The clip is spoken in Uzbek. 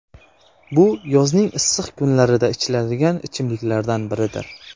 Bu yozning issiq kunlarida ichiladigan ichimliklardan biridir.